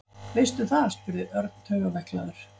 Veistu það? spurði Örn taugaveiklaður.